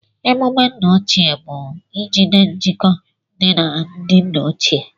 Emumé nna ochie bụ ijigide njikọ dị na ndị nna ochie